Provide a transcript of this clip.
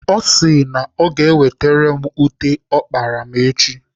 Ọ sị na ọ ga-ewetere m ute ọ kparala m echi.